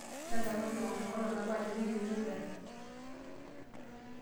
ntadamuaki engor enkolong nabo ajo keyieuni engarri